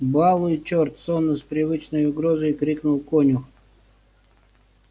балуй чёрт сонно с привычной угрозой крикнул конюх